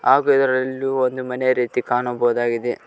ಹಾಗು ಇದರಲ್ಲೂ ಒಂದು ಮನೆಯ ರೀತಿ ಕಾಣಬಹುದಾಗಿದೆ.